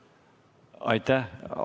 Aitäh!